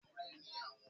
Bọlá ń bẹ ní ibi ọdún Ògún